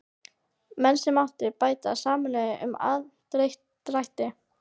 Menn sem áttu báta sameinuðust um aðdrætti.